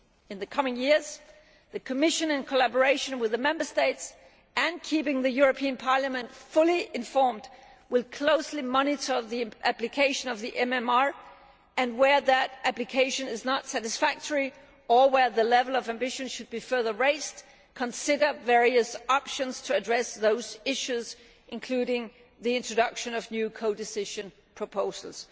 In the coming years the Commission, in collaboration with the Member States and keeping the European Parliament fully informed, will closely monitor the application of the MMR and, where that application is not satisfactory or where the level of ambition should be further raised, consider various options to address those issues, including the introduction of new codecision proposals.